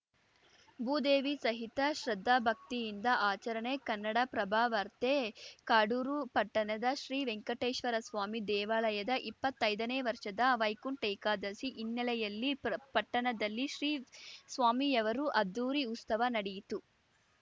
ಭೂದೇವಿ ಸಹಿತ ಶ್ರದ್ಧಾಭಕ್ತಿಯಿಂದ ಆಚರಣೆ ಕನ್ನಡಪ್ರಭ ವಾರ್ತೆ ಕಾಡೂರು ಪಟ್ಟಣದ ಶ್ರೀ ವೆಂಕಟೇಶ್ವರಸ್ವಾಮಿ ದೇವಾಲಯದ ಇಪ್ಪತ್ತೈದನೇ ವರ್ಷದ ವೈಕುಂಠ ಏಕಾದಶಿ ಹಿನ್ನೆಲೆಯಲ್ಲಿ ಪರ್ ಪಟ್ಟಣದಲ್ಲಿ ಶ್ರೀ ಸ್ವಾಮಿಯವರು ಅದ್ಧೂರಿ ಉಸ್ತವ ನಡಿಯಿತು